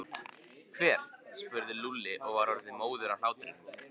Hver? spurði Lúlli og var orðinn móður af hlátri.